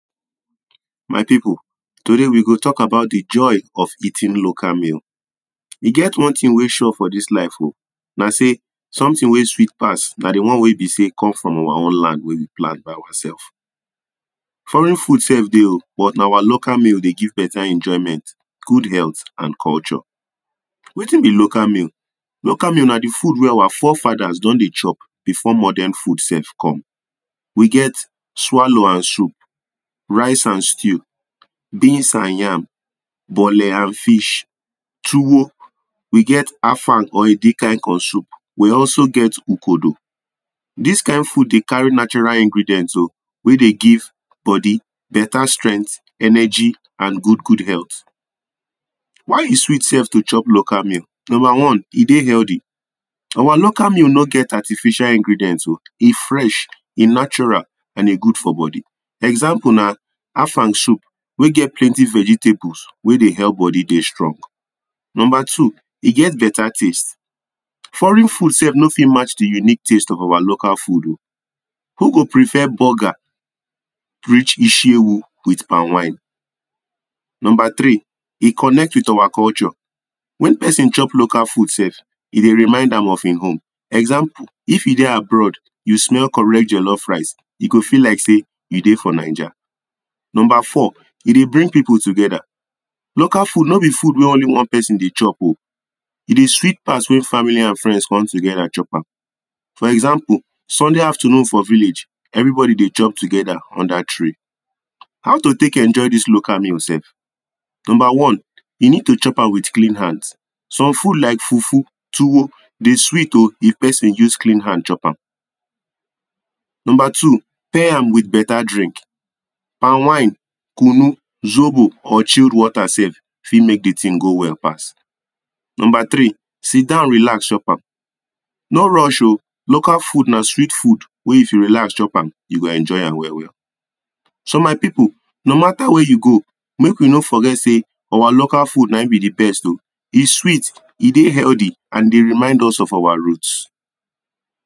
My pipul, today we go talk about de joy of eating local meal. E get one tin wey sure for dis life.o na sey, sometin wey sweet pass na de one wey be sey come from our own land wey we plant by ourselves. Foreign food sef dey.o but na our local meal dey give beta enjoyment, good health and culture. Wetin be local meal? Local meal na de food wey our forefathers don dey chop before modern food sef come. We get; swallow and soup, rice and stew, beans and yam, bole and fish, tuwo. We get afang or edikaikon soup. We also get ukodo. Dis kind food dey carry natural ingredients.o wey dey give body beta strength, energy and good good health. Why e sweet sef to chop local meal? Number one, e dey healthy. Our local meal no get artificial ingredients.o, e fresh, e natural and e good for body. Example na afang soup wey get plenty vegetables wey dey help body dey strong. Number two, e get beta taste Foreign food sef no fit match de unique test of our local food.o Who go prefer burger reach ishiewu with palm wine? Number tri, e connect with our culture. When pesin chop local food sef, e dey remind am of im home. Example, if you dey abroad, you smell correct jellof rice, e go feel like sey you dey naija. Number four, e dey bring pipul together. Local food no be food wey only one person dey chop.o, e de sweet pass when family and friends come togeda chop am, for example, Sunday afternoon for village, everybody dey chop togeda under tree. How to take enjoy dis local meal sef? number one: you need to chop am with clean hands. Some food like fufu, tuwo, de sweet.o if pesin use clean hand chop am. Number two, pair am with beta drink, palm wine, kunu, zobo, or chilled water sef fit make dey tin go well fast. Number tri, sidon relax chop am, no rush.o local food na sweet food wey if you relax chop am, you go enjoy am well well. So my pipul, no mata wey you go, make we no forget sey our local food na im be de best.o, e sweet, e dey healthy and dey remind us of our root.